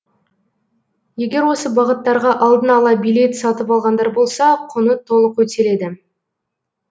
егер осы бағыттарға алдын ала билет сатып алғандар болса құны толық өтеледі